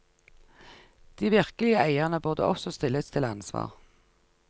De virkelige eierne burde også stilles til ansvar.